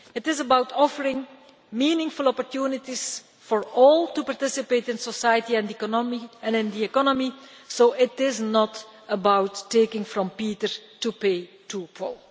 It is about offering meaningful opportunities for all to participate in society and in the economy so it is not about taking from Peter to pay Paul.